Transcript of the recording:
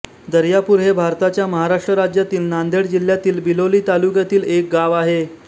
दर्यापूर हे भारताच्या महाराष्ट्र राज्यातील नांदेड जिल्ह्यातील बिलोली तालुक्यातील एक गाव आहे